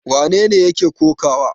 Wane ne yake kokawa?